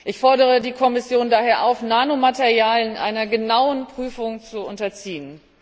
Ich fordere die Kommission daher auf, Nanomaterialien einer genauen Prüfung zu unterziehen.